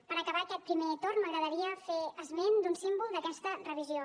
per acabar aquest primer torn m’agradaria fer esment d’un símbol d’aquesta revisió